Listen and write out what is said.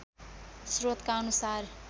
स्रोतका अनुसार